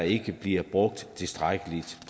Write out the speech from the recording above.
ikke bliver brugt tilstrækkeligt